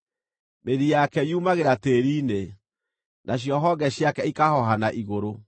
Mĩri yake yũmagĩra tĩĩri-inĩ, nacio honge ciake ikahooha na igũrũ.